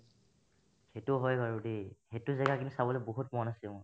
সেইতো হয় বাৰু দেই সেইতো জাগা কিন্তু চাবলে বহুত মন আছে মোৰ